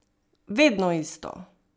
Vedno isto!